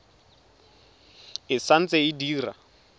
e sa ntse e dira